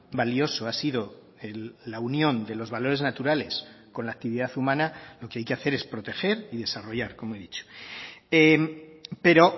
valioso ha sido la unión de los valores naturales con la actividad humana lo que hay que hacer es proteger y desarrollar como he dicho pero